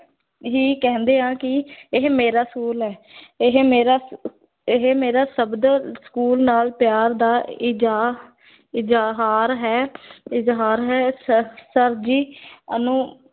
ਹੀ ਕਹਿੰਦੇ ਹਾਂ ਕਿ ਇਹ ਮੇਰਾ school ਹੈ ਇਹ ਮੇਰਾ ਇਹ ਮੇਰਾ ਸਭ ਦਾ school ਨਾਲ ਪਿਆਰ ਦਾ ਇਜ਼ਹਾ ਇਜ਼ਹਾਰ ਹੈ ਇਜ਼ਹਾਰ ਹੈ ਅਨੁ